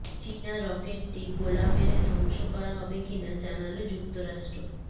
চীনা রকেটটি গোলা মেরে ধ্বংস করা হবে কিনা জানাল যুক্তরাষ্ট্র